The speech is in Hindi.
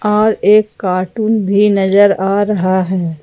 और एक कार्टून भी नजर आ रहा है।